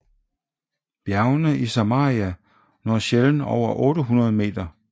Bjergene i Samaria når sjældent over 800 meter